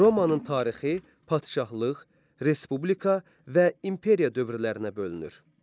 Romanın tarixi, padşahlıq, respublika və imperiya dövrlərinə bölünür.